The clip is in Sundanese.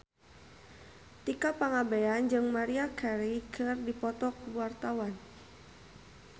Tika Pangabean jeung Maria Carey keur dipoto ku wartawan